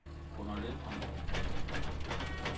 Gunnar Lindholm